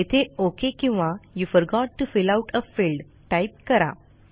येथे ओक किंवा you forgot to fill out a field type करा